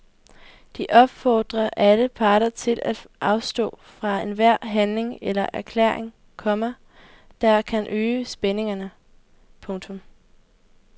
De opfordrer alle parter til at afstå fra enhver handling eller erklæring, komma der kan øge spændingerne. punktum